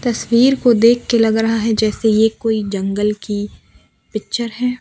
तस्वीर को देख के लग रहा है जैसे ये कोई जंगल की पिक्चर है।